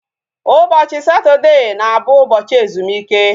Ụbọchị Satọdee na abụ ụbọchị ezumike